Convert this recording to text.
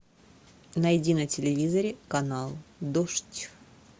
найди на телевизоре канал дождь